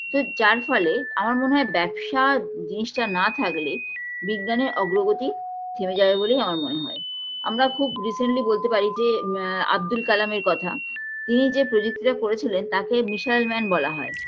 তো যার ফলে আমার মনে হয় ব্যবসা জিনিসটা না থাকলে বিজ্ঞানের অগ্ৰগতি থেমে যাবে বলেই আমার মনে হয় আমরা খুব recently বলতে পারি যে আ আবদুল কালামের কথা তিনি যে প্রযুক্তিটা করেছিলেন তাকে missile man বলা হয়